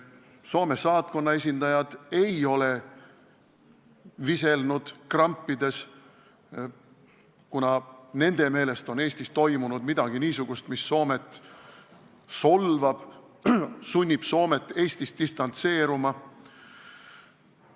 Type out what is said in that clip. Soome saatkonna esindajad ei ole viselnud krampides, kuigi nende meelest peaks Eestis olema toimunud midagi niisugust, mis Soomet solvab, sunnib Soomet Eestist distantseeruma.